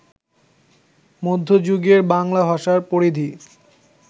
মধ্য যুগের বাংলা ভাষার পরিধি